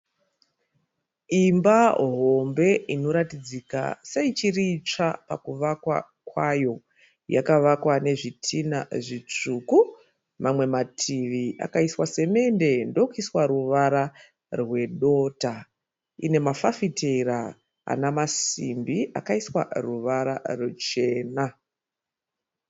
Imba hombe inoratidzika seichiri tsva pakuvakwa kwayo. Yakavakwa nezvitina zvitsvuku, mamwe mativi akaiswa simende ndokuiswa ruvara rwedota. Ine mafafitera ana masimbi akaiswa ruvara ruchena.